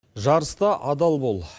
жарыста адал бол